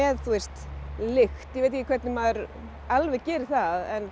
lykt ég veit ekki hvernig maður alveg gerir það en